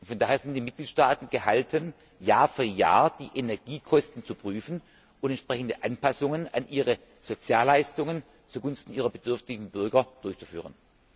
Von daher sind die Mitgliedstaaten gehalten, Jahr für Jahr die Energiekosten zu prüfen und entsprechende Anpassungen an ihre Sozialleistungen zugunsten ihrer bedürftigen Bürger durchzuführen.